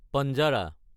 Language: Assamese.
পাঞ্জাৰা